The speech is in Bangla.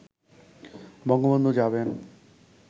বঙ্গবন্ধু যাবেন